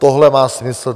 Tohle má smysl.